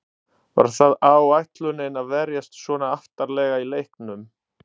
Var það áætlunin að verjast svona aftarlega í leiknum?